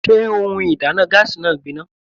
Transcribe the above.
Sé ohun ìdáná gáásì náà gbin ná?